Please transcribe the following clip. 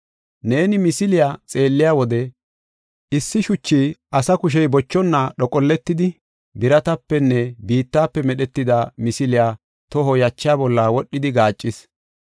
Neeni misiliya xeelliya wode, issi shuchi asa kushey bochonna dhoqolletidi, biratapenne biittafe medhetida misiliya toho yacha bolla wodhidi gaaccis.